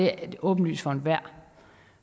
er åbenlyst for enhver